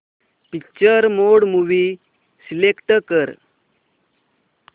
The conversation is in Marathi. पिक्चर मोड मूवी सिलेक्ट कर